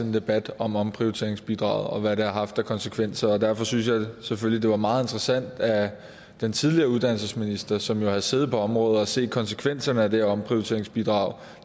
en debat om omprioriteringsbidraget og om hvad det har haft af konsekvenser derfor synes jeg selvfølgelig at det var meget interessant at den tidligere uddannelsesminister som selv havde siddet på området og set konsekvenserne af det her omprioriteringsbidrag